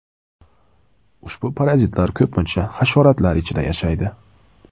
Ushbu parazitlar ko‘pincha hasharotlar ichida yashaydi.